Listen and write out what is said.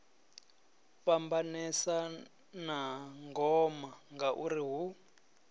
fhambanesa na ngoma ngauri hu